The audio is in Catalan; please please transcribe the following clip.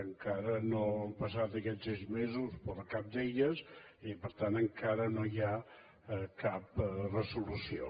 encara no han passat aquests sis mesos per a cap d’elles i per tant en·cara no hi ha cap resolució